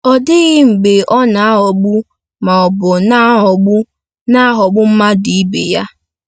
Ọ dịghị mgbe ọ na-aghọgbu ma ọ bụ na-aghọgbu na-aghọgbu mmadụ ibe ya.